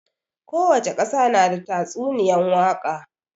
Kowace ƙasa na da tatsuniyan waka